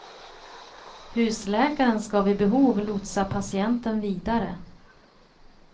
Husläkaren ska vid behov lotsa patienten vidare.